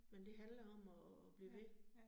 Men det handler om at at blive ved